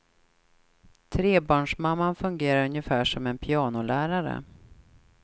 Trebarnsmamman fungerar ungefär som en pianolärare.